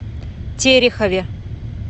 терехове